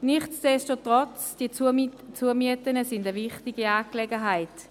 Nichtsdestotrotz sind die Zumieten eine wichtige Angelegenheit.